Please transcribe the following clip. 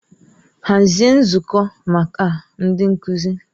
Hazie nzukọ maka ndị nkuzi!